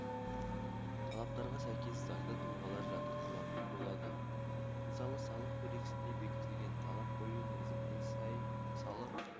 талаптарға сәйкес заңды тұлғалар жатқызылатын болады мысалы салық кодексінде бекітілген талап қою мерзіміне сай салық